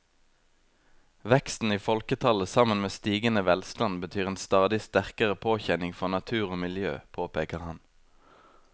Veksten i folketallet sammen med stigende velstand betyr en stadig sterkere påkjenning for natur og miljø, påpeker han.